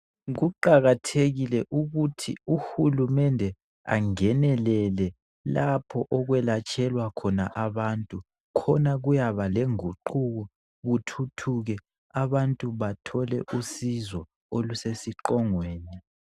Kuqakathekile ukuthi uhulumende angenelele lapho okwelatshelwa khona abantu khona kuyaba lenguquko kuthuthuke abantu bathole usizo olusesiqongweni.